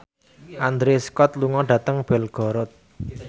Andrew Scott lunga dhateng Belgorod